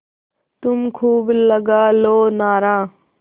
तुम खूब लगा लो नारा